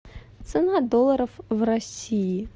цена долларов в россии